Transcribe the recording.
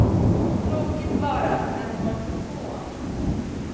Tråkigt bara att den når så få.